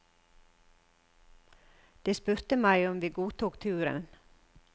De spurte meg om vi godtok turen.